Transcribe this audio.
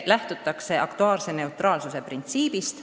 Lähtutakse aktuaarse neutraalsuse printsiibist.